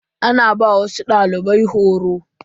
Ana ba wasu dalibai horo.